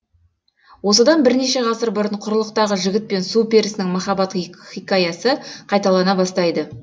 осыдан бірнеше ғасыр бұрын құрлықтағы жігіт пен су перісінің махаббат хикаясы қайталана бастайды